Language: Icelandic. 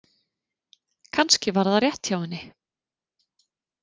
Kannski var það rétt hjá henni.